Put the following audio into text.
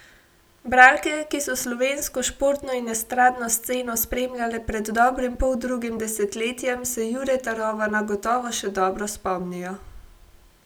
Bralke, ki so slovensko športno in estradno sceno spremljale pred dobrim poldrugim desetletjem, se Jureta Rovana gotovo še dobro spomnijo.